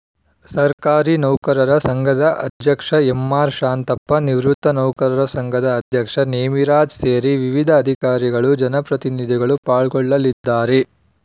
ಸರ್ಕಾರಿ ನೌಕರರ ಸಂಘದ ಅಧ್ಯಕ್ಷ ಎಂಆರ್‌ಶಾಂತಪ್ಪ ನಿವೃತ್ತ ನೌಕರರ ಸಂಘದ ಅಧ್ಯಕ್ಷ ನೇಮಿರಾಜ್‌ ಸೇರಿ ವಿವಿಧ ಅಧಿಕಾರಿಗಳು ಜನಪ್ರತಿನಿಧಿಗಳು ಪಾಲ್ಗೊಳ್ಳಲಿದ್ದಾರೆ